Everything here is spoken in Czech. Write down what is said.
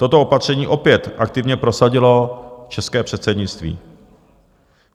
Toto opatření opět aktivně prosadilo české předsednictví.